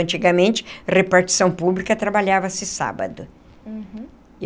Antigamente, repartição pública trabalhava-se sábado. Uhum.